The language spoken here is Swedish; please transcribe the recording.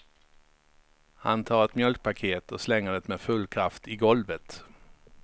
Han tar ett mjölkpaket och slänger det med full kraft i golvet.